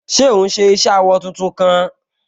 Ṣé òún ṣe iṣẹ awọ tuntun kan?